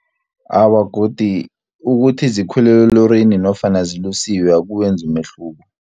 Awa, godu ukuthi zikhwele elorini nofana zilusiwe akuwenzi umehluko.